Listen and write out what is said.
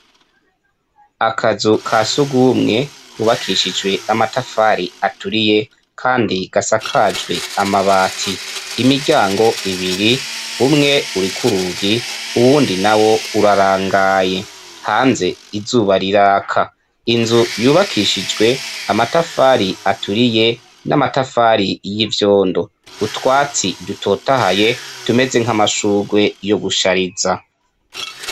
Akazu ka sugumwe kubakishijwe amatafari aturiye, kandi gasakajwe amabati imiryango ibiri umwe urikurugi uwundi na wo urarangaye hanze izuba riraka inzu yubakishijwe amatafariaa turi ye n'amatafari y'ivyondo utwatsi ryutotahaye tumeze nk'amashugwe yo gushariza.